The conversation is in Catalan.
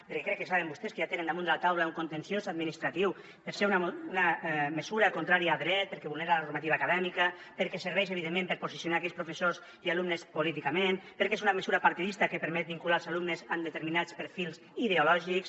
perquè crec que saben vostès que ja tenen damunt de la taula un contenciós administratiu perquè és una mesura contrària a dret perquè vulnera la normativa acadèmica perquè serveix evidentment per posicionar aquells professors i alumnes políticament perquè és una mesura partidista que permet vincular els alumnes amb determinats perfils ideològics